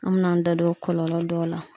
An min' an da don o kɔlɔlɔ dɔw la